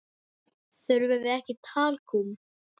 Þurfum við ekki talkúm?